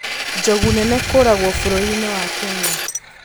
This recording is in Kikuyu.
Njogu nene kũragwo bũrũri-inĩ wa Kenya